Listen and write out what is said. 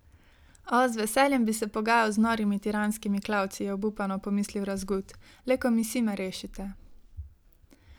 O, z veseljem bi se pogajal z norimi tiranskimi klavci, je obupano pomislil Razgut, le komisij me rešite!